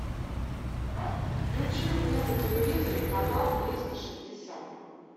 включи мне на телевизоре канал триста шестьдесят